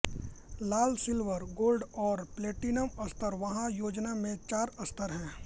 लाल silver gold और platinum स्तर वहाँ योजना में चार स्तर हैं